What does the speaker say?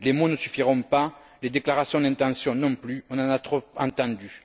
Les mots ne suffiront pas, les déclarations d'intention non plus, on en a trop entendus.